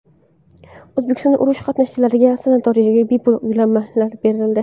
O‘zbekistonda urush qatnashchilariga sanatoriylarga bepul yo‘llanmalar berildi.